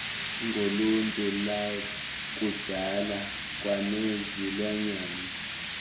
ngoluntu lwakudala kwanezilwanyana